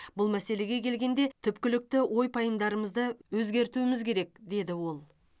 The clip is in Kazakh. бұл мәселеге келгенде түпкілікті ой пайымдарымызды өзгертуіміз керек деді ол